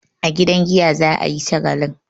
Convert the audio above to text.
A gidan giya za a yi shagalin.